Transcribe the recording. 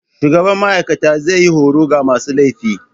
Shugaban ma'aikata zai yi horo ga masu laifi.